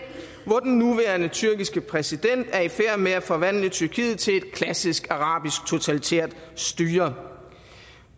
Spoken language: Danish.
hvor den nuværende tyrkiske præsident er i færd med at forvandle tyrkiet til et klassisk arabisk totalitært styre